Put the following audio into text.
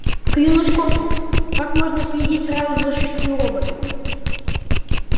клянусь космосом как можно следить сразу за шестью роботами